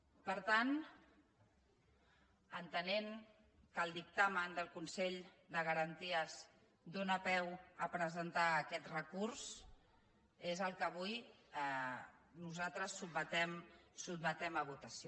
per tant entenent que el dictamen del consell de garanties dóna peu a presentar aquest recurs és el que avui nosaltres sotmetem a votació